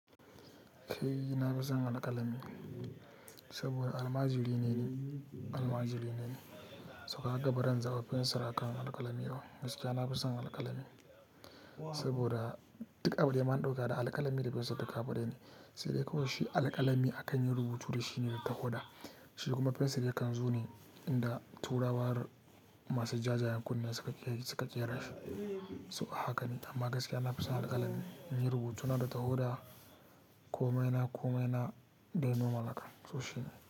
Kai na fi son alƙalami saboda almajiri ne, almajiri ne. Toh kaga bazan zabi fensir akan alƙalami ba. Gaskiya na fi son alƙalami saboda duk abu daya na ɗauka da alƙalami da fencir duk abu daya ne. Sai dai kawai shi alƙalami akan yi rubutu da shi ne da tawada. Shi kuma fensir yakan zo ne inda turawa masu jajjayen kunne suka je suka ƙera shi. To a haka ne, amma gaskiya na fi son alƙalami. In yi rubutuna da tawada komai na komai na dai nomal haka. To shi ne.